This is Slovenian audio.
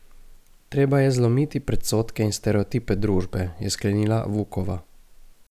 Treba je zlomiti predsodke in stereotipe družbe, je sklenila Vukova.